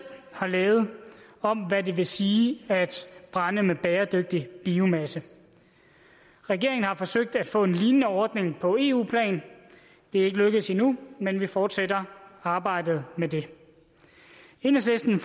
har lavet om hvad det vil sige at anvende bæredygtig biomasse regeringen har forsøgt at få en lignende ordning på eu plan det er ikke lykkedes endnu men vi fortsætter arbejdet med det enhedslisten